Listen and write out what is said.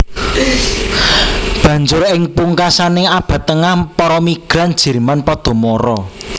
Banjur ing pungkasaning Abad Tengah para migran Jerman padha mara